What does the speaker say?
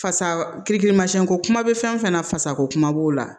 Fasa kirikirimasiɲɛko kuma bɛ fɛn fɛn na fasako kuma b'o la